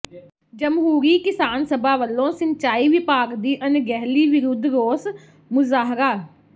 ਜਮਹੂਰੀ ਕਿਸਾਨ ਸਭਾ ਵਲੋਂ ਸਿੰਚਾਈ ਵਿਭਾਗ ਦੀ ਅਣਗਹਿਲੀ ਵਿਰੁੱਧ ਰੋਸ ਮੁਜ਼ਾਹਰਾ